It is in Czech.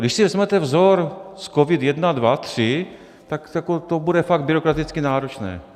Když si vezmete vzor z COVID I, II, III, tak to bude fakt byrokraticky náročné.